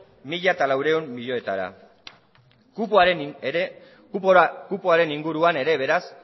mila laurehun milioietara kupoaren inguruan ere beraz